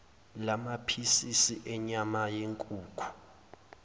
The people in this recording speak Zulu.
lamaphisisi enyama yenkukhu